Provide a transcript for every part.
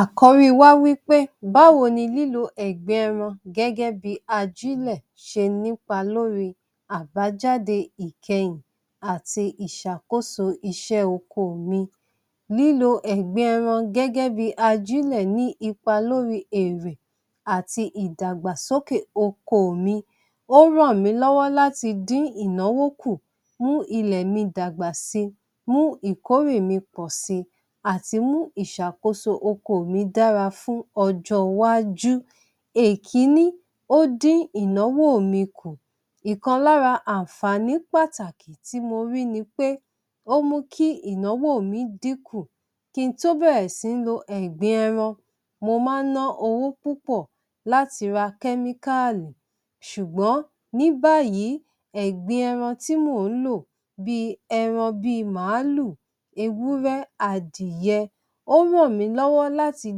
Àkọ́rí wá wí pé báwo ni lílo ẹ̀gbin ẹran gẹ́gẹ́ bí i ajílẹ̀ ṣe nípa lórí àbájáde ìkẹyìn àti ìṣàkóso iṣẹ́ oko mi? Lílo ẹ̀gbin ẹran gẹ́gẹ́ bí i ajílẹ̀ ní ipa lórí èrè àti ìdàgbàsókè oko mi. Ó ràn mí lọ́wọ́ láti dín ìnáwó kù, mú ilẹ̀ mi dàgbà si, mú ìkórè mi pọ̀ si, àti mú ìṣàkóso oko mi dára fún ọjọ́ iwájú. Èkiní, ó dín ìnáwó mi kù, ìkan lára àǹfàní pàtàkì tí mo rí ni pé ó mú kí ìnáwó mi dín kù kí n tó bẹ̀rẹ̀ sí ń lo ẹ̀gbin ẹran, mo máa ń ná owó púpọ̀ láti ra chemical ṣùgbọ́n ní báyìí ẹ̀gbin ẹran tí mò ń lò bí ẹran bí i màálù, ewúrẹ́, adìyẹ, ó ń ràn mí lọ́wọ́ láti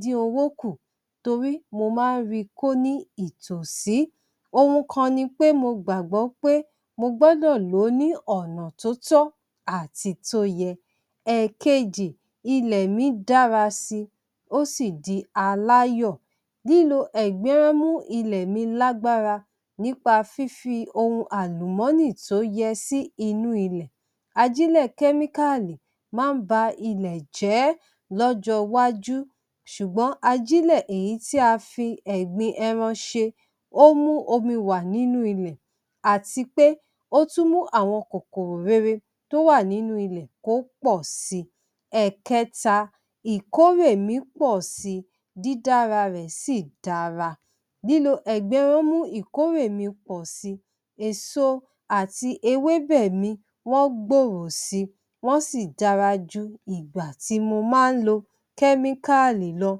dín owó kù torí mo máa ń ri kó ní ìtòsí, ohun kan ni pé mo gbàgbọ́ pé mo gbọ́dọ̀ lò ó ní ọ̀nà tó tọ́ àti tó yẹ. ẹkejì, ilẹ̀ mi dára si ó sì di aláyọ̀. Lílo ẹ̀gbin máa ń mú ilẹ̀ mi lágbára nípa fífi ohun àlùmọ́nì tó yẹ sí inú ilẹ̀. Ajílẹ̀ chemical máa ń ba ilẹ̀ jẹ́ lọ́jọ́ wájú ṣùgbọ́n ajílẹ̀ èyí tí a fi ẹ̀gbin ẹran ṣe ó mú omi wà nínú ilẹ̀ àti pé ó tún mú àwọn kòkòrò rere tó wà nínú ilẹ̀ kó pọ̀ si. ẹ̀kẹta, ìkórè mi pọ̀ si dídára rẹ̀ sì dára, lílo ẹ̀gbin máa ń mú ìkórè mi pọ̀ si. Èso àti ewébẹ̀ mi wọ́n gbòòrò si, wọ́n sì dára ju ìgbà tí mo máa ń lo chemical lọ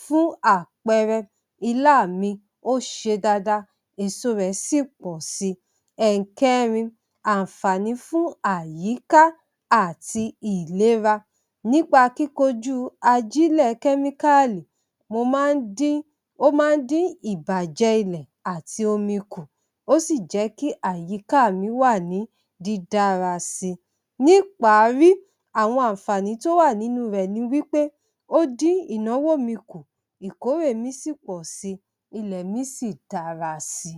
fún àpẹẹrẹ ilá mi ó ṣe dada èso rẹ̀ sì pọ̀ si. ẹ̀kẹrin, àǹfàní fún àyíká àti ìlera. Nípa kíkojú ajílẹ̀ chemical mo máa ń dín ó máa ń dín ìbàjẹ́ ilẹ̀ àti omi kù, ó sì jẹ́ kí àyíká mi wà ní dídára si. Níparí àwọn àǹfàní tó wà nínú rẹ̀ ni pé ó dín ìnáwó mi kù ìkórè mi sì pọ̀ si ilẹ̀ mi sì dára si.